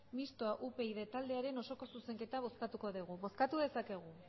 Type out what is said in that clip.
mistoa upyd taldearen osoko zuzenketa bozkatuko degu bozkatu dezakegu